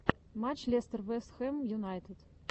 матч лестер вест хэм юнайтед